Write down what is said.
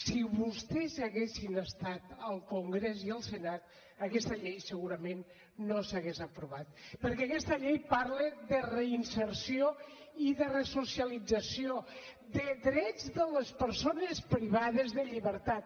si vostès haguessin estat al congrés i al senat aquesta llei segurament no s’hauria aprovat perquè aquesta llei parla de reinserció i de resocialització de drets de les persones privades de llibertat